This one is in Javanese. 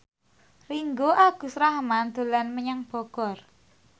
Ringgo Agus Rahman dolan menyang Bogor